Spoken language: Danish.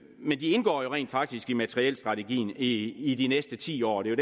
men de indgår rent faktisk i materielstrategien i i de næste ti år og det er